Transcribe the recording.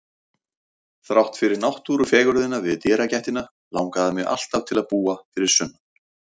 Þrátt fyrir náttúrufegurðina við dyragættina langaði mig alltaf til að búa fyrir sunnan.